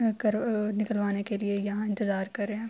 نکلوانے کے لئے یہاں انتظار کر رہے ہے۔